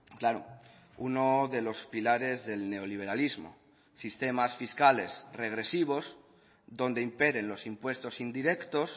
claro uno de los pilares del neoliberalismo sistemas fiscales regresivos donde imperen los impuestos indirectos